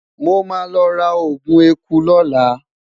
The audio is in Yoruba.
mo ma lo ra ogun ẹkú lola